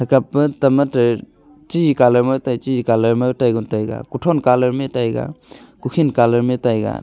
kapa tamatar chi colour ma tai chi colour ma taigon taiga kuthon colour ma taiga kukhin colour ma taiga.